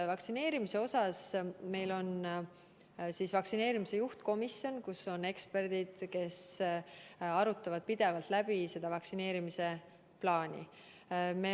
Meil on vaktsineerimise juhtkomisjon, kus on eksperdid, kes arutavad pidevalt läbi vaktsineerimise plaani.